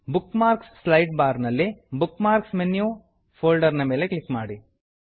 bookmarks slide bar ನಲ್ಲಿ bookmarks menu folder ನ ಮೇಲೆ ಕ್ಲಿಕ್ ಮಾಡಿ